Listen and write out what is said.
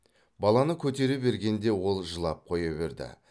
баланы көтере бергенде ол жылап қоя берді